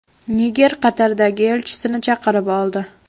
Niger Qatardagi elchisini chaqirib oldi.